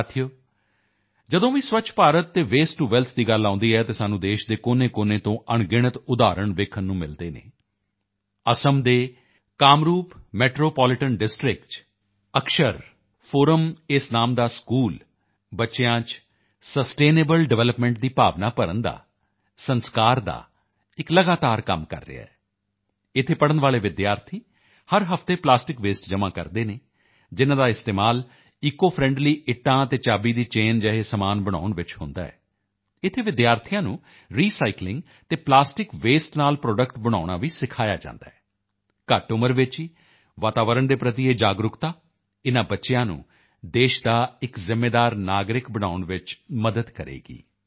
ਸਾਥੀਓ ਜਦੋਂ ਵੀ ਸਵੱਛ ਭਾਰਤ ਅਤੇ ਵੇਸਟ ਟੂ ਵੈਲਥ ਦੀ ਗੱਲ ਆਉਂਦੀ ਹੈ ਤਾਂ ਸਾਨੂੰ ਦੇਸ਼ ਦੇ ਕੋਨੇਕੋਨੇ ਤੋਂ ਅਣਗਿਣਤ ਉਦਾਹਰਣ ਵੇਖਣ ਨੂੰ ਮਿਲਦੇ ਹਨ ਅਸਮ ਦੇ ਕਾਮਰੂਪ ਮੈਟਰੋ ਪੋਲੀਟਾਂ ਡਿਸਟ੍ਰਿਕਟ ਵਿੱਚ ਅਕਸਰ ਫੋਰਮ ਇਸ ਨਾਮ ਦਾ ਇੱਕ ਸਕੂਲ ਬੱਚਿਆਂ ਵਿੱਚ ਸਸਟੇਨੇਬਲ ਡਿਵੈਲਪਮੈਂਟ ਦੀ ਭਾਵਨਾ ਭਰਨ ਦਾ ਲਗਾਤਾਰ ਕੰਮ ਕਰ ਰਿਹਾ ਹੈ ਇੱਥੇ ਪੜ੍ਹਨ ਵਾਲੇ ਵਿਦਿਆਰਥੀ ਹਰ ਹਫ਼ਤੇ ਪਲਾਸਟਿਕ ਵੇਸਟ ਜਮ੍ਹਾਂ ਕਰਦੇ ਹਨ ਜਿਨ੍ਹਾਂ ਦਾ ਇਸਤੇਮਾਲ ਈਸੀਓ ਫ੍ਰੈਂਡਲੀ ਇੱਟਾਂ ਅਤੇ ਚਾਬੀ ਦੀ ਚੈਨ ਜਿਹੇ ਸਮਾਨ ਬਣਾਉਣ ਵਿੱਚ ਹੁੰਦਾ ਹੈ ਇੱਥੇ ਵਿਦਿਆਰਥੀਆਂ ਨੂੰ ਰੀਸਾਈਕਲਿੰਗ ਅਤੇ ਪਲਾਸਟਿਕ ਵੇਸਟ ਨਾਲ ਪ੍ਰੋਡਕਟਸ ਬਣਾਉਣਾ ਵੀ ਸਿਖਾਇਆ ਜਾਂਦਾ ਹੈ ਘੱਟ ਉਮਰ ਵਿੱਚ ਹੀ ਵਾਤਾਵਰਣ ਦੇ ਪ੍ਰਤੀ ਇਹ ਜਾਗਰੂਕਤਾ ਇਨ੍ਹਾਂ ਬੱਚਿਆਂ ਨੂੰ ਦੇਸ਼ ਦਾ ਇੱਕ ਜ਼ਿੰਮੇਵਾਰ ਨਾਗਰਿਕ ਬਣਾਉਣ ਵਿੱਚ ਬਹੁਤ ਮਦਦ ਕਰੇਗੀ